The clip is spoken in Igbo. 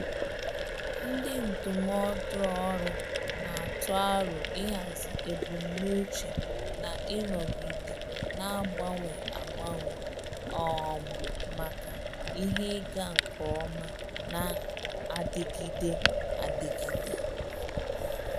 Ndị ndụmọdụ ọrụ na-atụ aro ịhazi ebumnuche na ịnọgide na-agbanwe agbanwe um maka ihe ịga nke ọma na-adịgide adịgide.